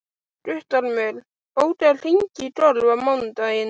Guttormur, bókaðu hring í golf á mánudaginn.